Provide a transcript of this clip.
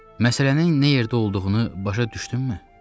Məsələnin nə yerdə olduğunu başa düşdünmü?